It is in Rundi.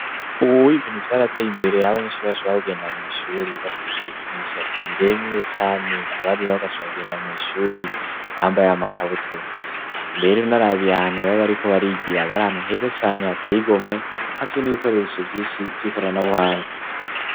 Uwuwo ibintu vyarateye imbere yabanyenshura bashura kugenda mw'ishuri bafise imishatsi imiremu ire cane abarira bo gacura kugenda mw'ishuri bambaye amakabutura mbero niari abihantu baba, ariko barigira bari hantu heza cane hateye igomwe havyo n'ibikoresho vyinshi vyikorana buhanga.